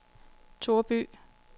Toreby